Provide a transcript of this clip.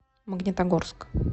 магнитогорск